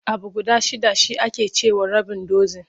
Abu guda shidda shi ake ce wa rabin dozin.